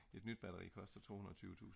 et nyt batteri koster 220000